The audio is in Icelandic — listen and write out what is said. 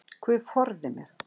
Guð forði mér.